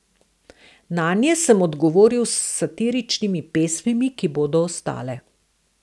Nanje sem odgovoril s satiričnimi pesmimi, ki bodo ostale.